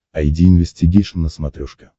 айди инвестигейшн на смотрешке